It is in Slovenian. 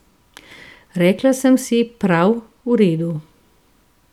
Rekla sem si: 'Prav, v redu.